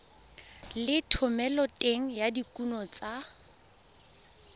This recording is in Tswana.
le thomeloteng ya dikuno tsa